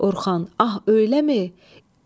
Orxan, ah eləmi?